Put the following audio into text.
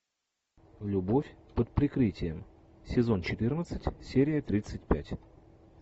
любовь под прикрытием сезон четырнадцать серия тридцать пять